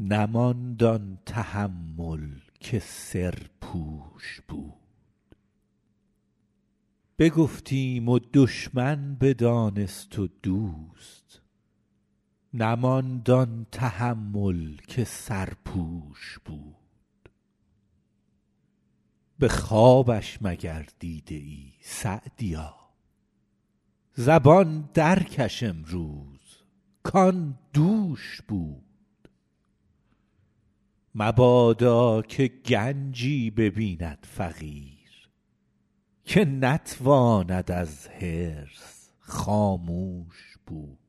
نماند آن تحمل که سرپوش بود به خوابش مگر دیده ای سعدیا زبان در کش امروز کآن دوش بود مبادا که گنجی ببیند فقیر که نتواند از حرص خاموش بود